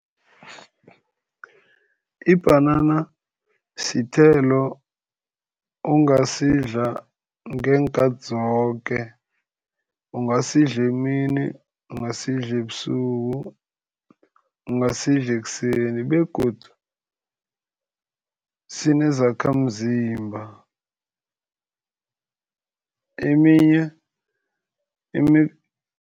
Ibhanana sithelo ongasidla ngeenkathi zoke. Ungasidla emini, ungasidla ebusuku, ungasidla ekuseni begodu sinezakhamzimba eminye